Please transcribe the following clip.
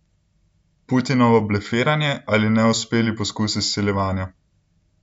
Putinovo blefiranje ali neuspeli poskus izsiljevanja?